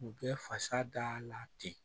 U bɛ fasa da la ten